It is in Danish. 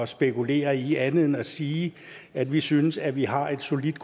spekulere i andet end at sige at vi synes at vi har et solidt